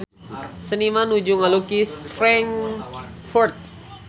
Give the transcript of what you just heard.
Seniman nuju ngalukis Frankfurt